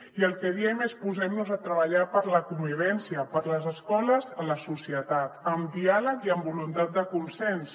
i el que diem és posem nos a treballar per la convivència per les escoles a la societat amb diàleg i amb voluntat de consens